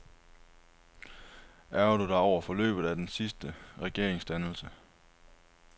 Ærgrer du dig over forløbet af den sidste regeringsdannelse?